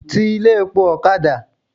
Ti ilé epo ọ̀kadà!